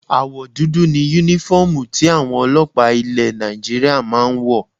Àwọ̀ dúdú ni Únífọ́ọ̀mù tí àwọn ọlọ́pàá ilẹ̀ Nigeria máa ń wọ̀